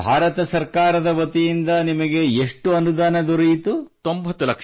ಅಂದರೆ ಭಾರತ ಸರ್ಕಾರದ ವತಿಯಿಂದ ನಿಮಗೆ ಎಷ್ಟು ಅನುದಾನ ದೊರೆಯಿತು